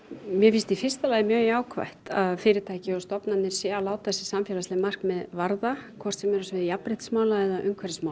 mér finnst í fyrsta lagi mjög jákvætt að fyrirtæki og stofnanir séu að láta samfélagsleg markmið varða hvort sem er á sviði jafnréttismála eða umhverfismála